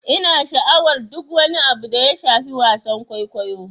Ina sha'awar duk wani abu da ya shafi wasan kwaikwayo.